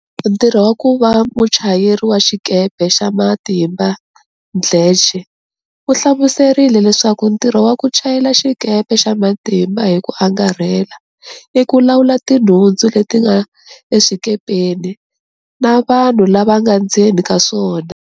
Ntirho wa ku va muchayeri wa xikepe xa matimba Mdletshe u hlamuserile leswaku ntirho wa ku chayela xikepe xa matimba hi ku angarhela i ku lawula tinhundzu leti nga eswikepeni na vanhu lava nga ndzeni ka swona.